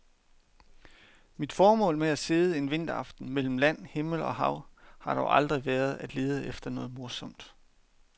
Mit formål med at sidde en vinteraften mellem land, himmel og hav har dog aldrig været at lede efter noget morsomt.